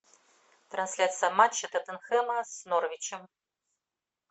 трансляция матча тоттенхэма с норвичем